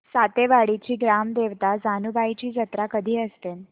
सातेवाडीची ग्राम देवता जानुबाईची जत्रा कधी असते